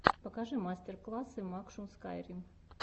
покажи мастер классы макшун скайрим